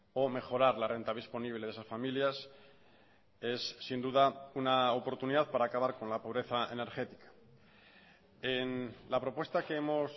o mejorar la renta disponible de esas familias es sin duda una oportunidad para acabar con la pobreza energética en la propuesta que hemos